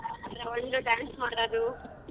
ಒಂದು dance ಮಾಡೋದು .